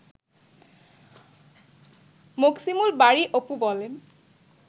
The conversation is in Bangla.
মোকসিমুল বারী অপু বলেন